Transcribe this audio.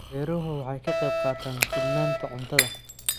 Beeruhu waxay ka qayb qaataan sugnaanta cuntada.